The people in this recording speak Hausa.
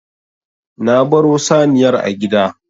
Na baro saniyar a gida.